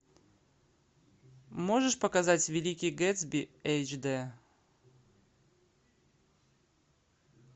можешь показать великий гэтсби эйч д